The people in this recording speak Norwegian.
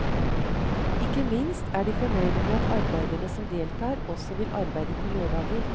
Ikke minst er de fornøyde med at arbeiderne som deltar også vil arbeide på lørdager.